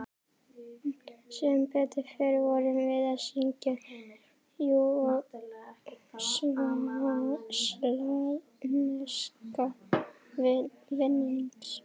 Sem betur fer vorum við að syngja júgóslavneska vinnings